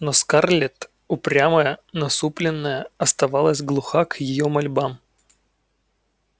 но скарлетт упрямая насупленная оставалась глуха к её мольбам